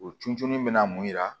O tun jununi bɛ na mun yira